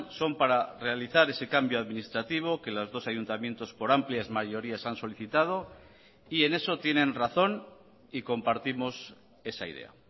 son para realizar ese cambio administrativo que los dos ayuntamientos por amplias mayorías han solicitado y en eso tienen razón y compartimos esa idea